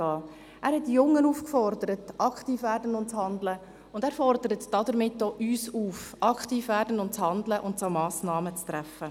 Er hat die Jungen aufgefordert, aktiv zu werden und zu handeln, und er fordert damit auch uns auf, aktiv zu werden, zu handeln und Massnahmen zu treffen.